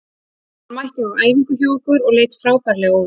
Hann mætti á æfingu hjá okkur og leit frábærlega út.